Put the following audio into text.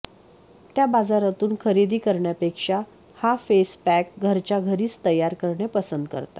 त्या बाजारातून खरेदी करण्यापेक्षा हा फेस पॅक घरच्या घरीच तयार करणे पसंत करतात